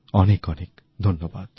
অনেক অনেক ধন্যবাদ